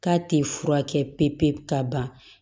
K'a tɛ furakɛ pepe pe pe pe ka ban